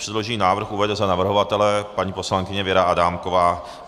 Předložený návrh uvede za navrhovatele paní poslankyně Věra Adámková.